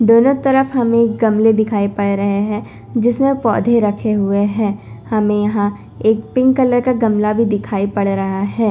दोनों तरफ हमें गमले दिखाई पड़ रहे हैं जिसमें पौधे रखे हुए हैं हमें यहां एक पिंक कलर का गमला भी दिखाई पड़ रहा है।